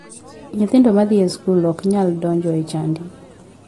Nyithindo madhi e skul ok nyal donjo e chadi.